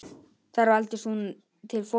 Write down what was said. Þar valdist hún til forstöðu.